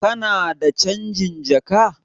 Kana da canjin jaka?